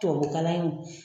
Tubabukalan in